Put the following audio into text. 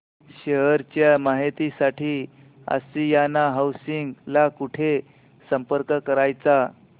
share च्या माहिती साठी आशियाना हाऊसिंग ला कुठे संपर्क करायचा